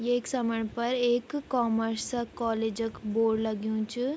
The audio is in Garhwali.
येक समणी पर एक कॉमर्स कॉलेज क बोर्ड लग्युं च।